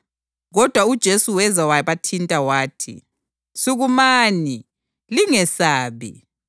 Kodwa uJesu weza wabathinta. Wathi, “Sukumani. Lingesabi.”